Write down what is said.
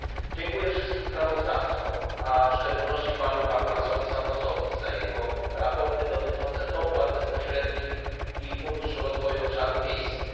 Dziękuję wszystkim sprawozdawcom, a w szczególności panu Capoulasowi Santosowi za jego sprawozdania dotyczące dopłat bezpośrednich i funduszu rozwoju obszarów wiejskich.